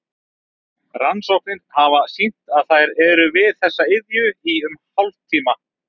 Rannsóknir hafa sýnt að þær eru við þessa iðju í um hálftíma.